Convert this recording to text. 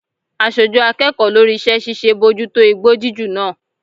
Aṣojú akẹ́kọ̀ọ́ lórí iṣẹ́ ṣíṣe bójú tó igbó jíjù náà.